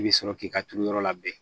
I bɛ sɔrɔ k'i ka turuyɔrɔ labɛn